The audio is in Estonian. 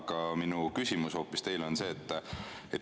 Aga minu küsimus teile on see.